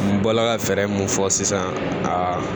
N bɔla ka fɛɛrɛ mun fɔ sisan aa